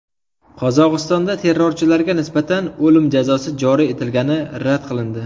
Qozog‘istonda terrorchilarga nisbatan o‘lim jazosi joriy etilgani rad qilindi.